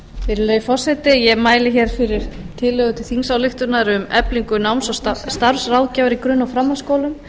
virðulegi forseti ég mæli hér fyrir tillögu til þingsályktunar um eflingu náms og starfsráðgjafar í grunn og framhaldsskólum